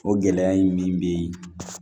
O gɛlɛya in min bɛ yen